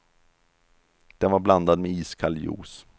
Den var blandad med iskall juice.